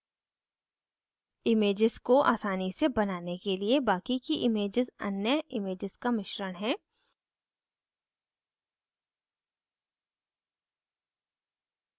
images को आसानी से बनाने के लिए बाकि की images अन्य images का मिश्रण हैं